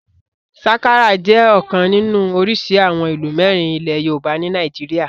Sakara jẹ́ ọ̀kan nínú orísìí àwọn ìlù mẹ́rin ilẹ̀ yoòbá ní nàìjíríyà